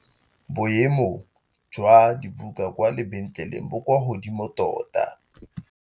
Boêmô jwa dibuka kwa lebentlêlêng bo kwa godimo tota.